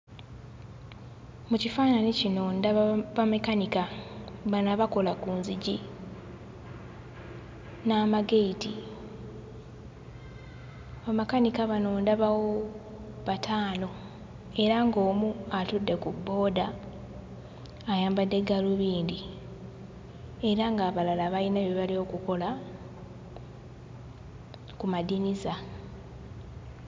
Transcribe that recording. Mu kifaananyi kino ndaba bamakanika bano abakola ku nzigi n'amageeti. Bamakanika bano ndabawo bataano era ng'omu atudde ku bbooda ayambadde gaalubindi era ng'abalala bayina bye bali okukola ku madinisa.